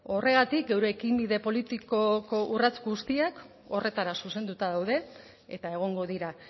horregatik eurekin bide politikoko urrats guztiak horretara zuzenduta daude eta egongo dira